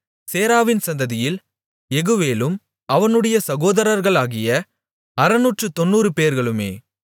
சேராவின் சந்ததியில் யெகுவேலும் அவனுடைய சகோதரர்களாகிய அறுநூற்றுத்தொண்ணூறுபேர்களுமே